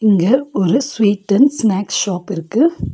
இங்க ஒரு sweet and snacks ஷாப்பிருக்கு .